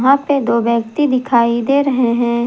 यहां पे दो व्यक्ति दिखाई दे रहे हैं।